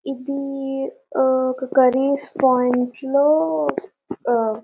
ఇది ఆ ఒక కర్రీస్ పోయింట్ లో ఆ --